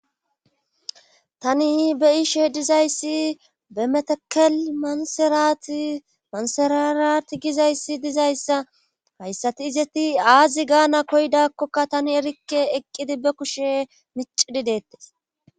Tani be'iishe dizayssi be metakel manserati manserarati gizayssi dizayssa hayssati izeti aazi gaana koydakkoka tani erikke eqqidi be kushe micidi deettes.